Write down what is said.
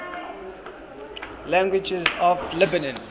languages of lebanon